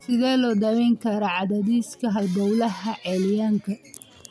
Sidee loo daweyn karaa cadaadiska halbowlaha celiacga?